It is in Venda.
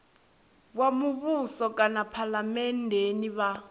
wa muvhuso kana phalamennde vha